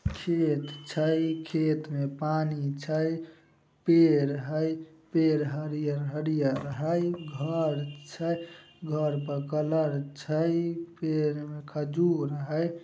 खेत छई खेत में पानी छईपेड़ हेय पेड़ हरिअर हरीअर हेय घर छई घर पर कलर छई पेड़ में खजूर हेय।